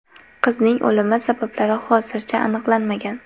Qizning o‘limi sabablari hozircha aniqlanmagan.